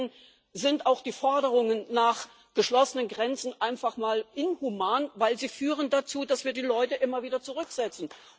ansonsten sind auch die Forderungen nach geschlossenen Grenzen einfach inhuman, weil sie dazu führen, dass wir die Leute immer wieder zurücksetzen.